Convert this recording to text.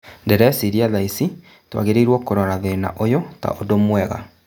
" Ndĩreciria thaici tũagĩrĩirwo kũrora thĩna ũyũ ta ũndũ mwega.